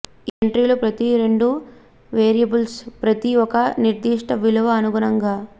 ఈ ఎంట్రీలు ప్రతి రెండు వేరియబుల్స్ ప్రతి ఒక నిర్దిష్ట విలువ అనుగుణంగా